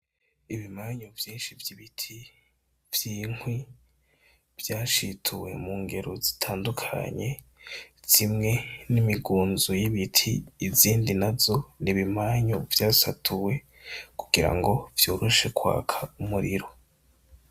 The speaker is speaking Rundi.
Ibimanyu vyinshi vy'ibiti vy'inkwi, vyashituwe mu ngero zitandukanye, zimwe ni imigunzo y'ibiti izindi nazo ni ibimanyu vyasatuwe kugira ngo vyoroshe kwaka umuriro.